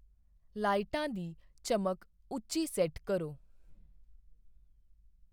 ਲਾਈਟਾਂ ਦੀ ਚਮਕ ਉੱਚੀ ਸੈੱਟ ਕਰੋ।